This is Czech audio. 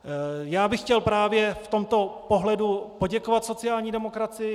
Já bych chtěl právě v tomto pohledu poděkovat sociální demokracii.